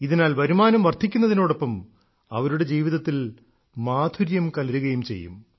ഇതിനാൽ വരുമാനം വർദ്ധിക്കുന്നതിനോടൊപ്പം അവരുടെ ജീവിതത്തിൽ മാധുര്യം കലരുകയും ചെയ്യും